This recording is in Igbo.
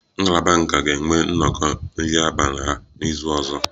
Ngalaba nka ga-enwe nnọkọ nri abalị ha n'izu ọzọ